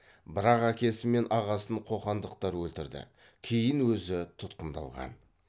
бірақ әкесі мен ағасын қоқандықтар өлтірді кейін өзі тұтқындалған